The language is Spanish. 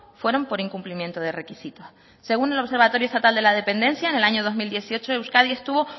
fueron por incumplimiento de requisitos según el observatorio estatal de la dependencia en el año dos mil dieciocho euskadi estuvo